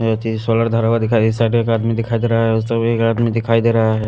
यहाँ पे सोलर धरा हुआ दिखाई इस साइड एक आदमी दिखाई दे रहा है उस साइड एक आदमी दिखाई दे रहा है।